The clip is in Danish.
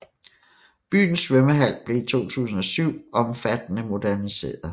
Byens svømmehal blev i 2007 omfattende moderniseret